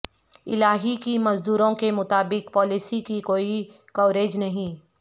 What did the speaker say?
الہی کی مزدوروں کے مطابق پالیسی کی کوئی کوریج نہیں